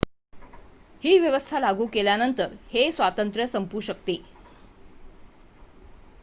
ही व्यवस्था लागू केल्यानंतर हे स्वातंत्र्य संपू शकते